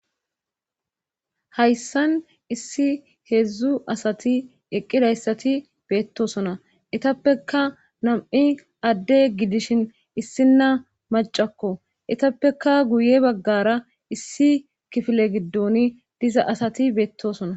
hayssan issi heedzdzu asati eqqidayssati beettosona etappeka nam7i adde gidishin issinna macakko etappeka guye baggara issi kifile giddon diza asati beettosona